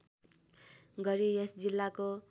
गरी यस जिल्लाको